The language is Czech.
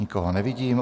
Nikoho nevidím.